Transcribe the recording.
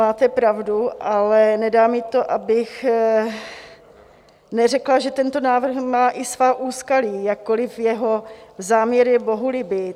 Máte pravdu, ale nedá mi to, abych neřekla, že tento návrh má i svá úskalí, jakkoliv jeho záměr je bohulibý.